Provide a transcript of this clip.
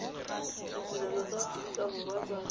ditirelo tsa aforika borwa tsa